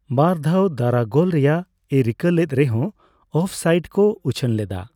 ᱵᱟᱨ ᱫᱷᱟᱣ ᱫᱟᱨᱟ ᱜᱳᱞ ᱨᱮᱭᱟᱜᱼᱮ ᱨᱤᱠᱟᱹ ᱞᱮᱫ ᱨᱮᱦᱚᱸ ᱚᱯᱷ ᱥᱟᱭᱤᱰ ᱠᱚ ᱩᱪᱷᱟᱹᱱ ᱞᱮᱫᱟ ᱾